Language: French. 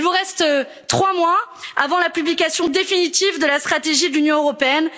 Il vous reste trois mois avant la publication définitive de la stratégie de l'Union européenne.